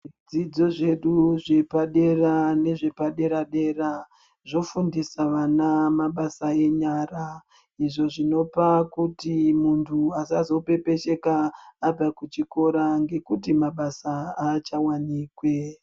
Zvidzidzo zvedu zvepadera nezvepadera-dera zvofundisa vana mabasa enyara, izvo zvinopa kuti muntu asazopepesheka abva kuchikoro ngekuti mabasa aachawanikwi.